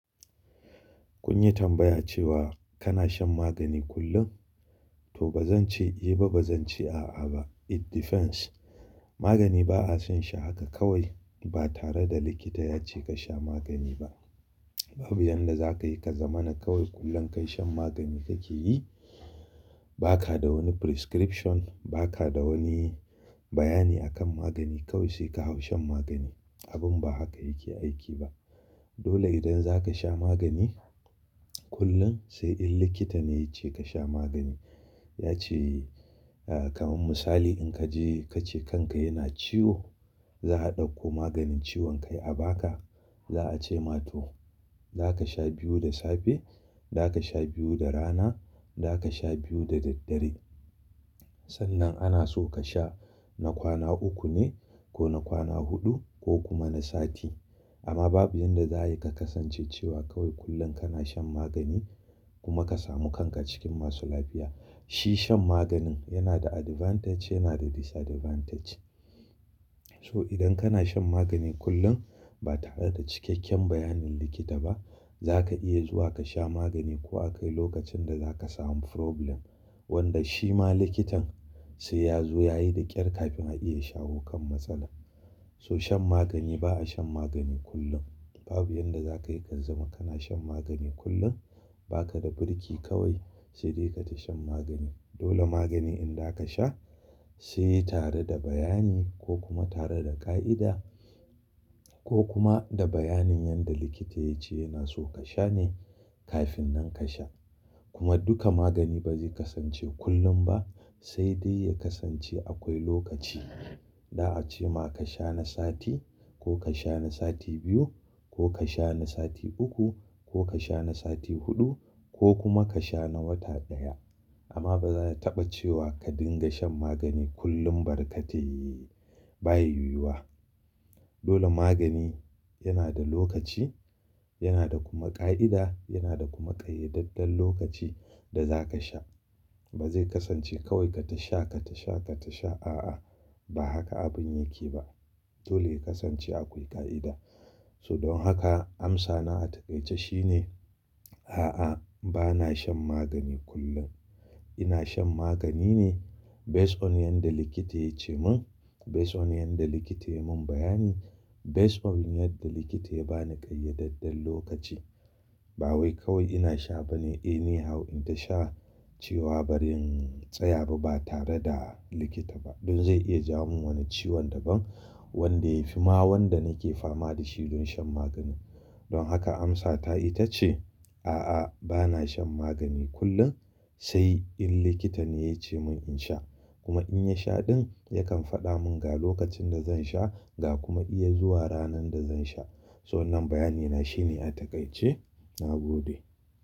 Kun yi tambaya cewa kana shan magani kullum, to ba zan ce eh ba ba zan ce a'a ba. It depends. Magani ba a shan shi haka kawai ba tare da likita ya ce ka sha magani ba. Babu yanda za ka yi ka zama na kawai kullum ka yi shan magani ka ke yi. Ba ka da wani prescription, ba ka da wani bayani akan magani kawai sai ka hau shan magani. Abin ba haka yake aiki ba. Dole idan za ka sha magani kullum sai in likita ne ya ce ka sha magani. Ya ce kamar misali in ka je ka ce kanka yana ciwo, za a ɗauko maganin ciwon kai a ba ka. Za a ce ma to za ka sha biyu da safe, za ka sha biyu da rana, za ka sha biyu da daddare. Sannan ana so ka sha na kwana uku ne ko na kwana huɗu ko kuma na sati. Amma babu yanda za a yi ka kasance cewa kawai kullum kana shan magani kuma ka samu kanka cikin masu lafiya. Shi shan maganin yana da advantage yana da disadvantage. To idan kana shan magani kullum ba tare da cikakken bayanin likita ba, za ka iya zuwa ka sha magani ko akai lokacin da za ka samu problem wanda shi ma likitan sai ya zo ya yi daƙyar kafin a iya shawo kan matsala. So shan magani ba a shan magani kullum. Babu yanda za ka yi ka zama kana shan magani kullum. Ba ka da birki kawai sai dai ka tashi shan magani. Dole magani in za ka sha sai tare da bayani ko kuma tare da ƙa'ida ko kuma da bayanin yanda likita ya ce yana so ka sha ne kafin nan ka sha. Kuma duka magani ba zai kasance kullum ba sai dai ya kasance akwai lokaci. Za a ce ma ka sha na sati ko ka sha na sati biyu ko ka sha na sati uku ko ka sha na sati huɗu ko kuma ka sha na wata ɗaya. Amma ba za a taɓa cewa ka dinga shan magani kullum barkatai baya yuwa. Dole magani yana da lokaci, yana da kuma ƙa'ida, yana da kuma ƙayyadaddan lokaci da za ka sha. Ba zai kasance kawai ka tashi sha, ka tashi sha, ka tashi sha a'a ba haka abin yake ba. Dole ya kasance akwai ƙa'ida. So don haka amsana a taƙaice shine a'a ba na shan magani kullum. Ina shan magani ne based on yanda likita ya ce mun, based on yanda likita ya mun bayani, based on yadda likita ya bani ƙayyadaddan lokaci. Ba wai kawai ina sha bane anyhow in ta sha ciwa bari in tsaya ba ba tare da likita ba. Don zai iya ja mun wani ciwon daban wanda ya fi ma wanda nake fama da shi don shan maganin. Don haka amsata ita ce a'a ba na shan magani kullum sai in likita ne ya ce mun in sha. Kuma in ya sha ɗin yakan faɗa mun ga lokacin da zan sha ga kuma iya zuwa ranar da zan sha. So wannan bayani na shine a taƙaice na gode.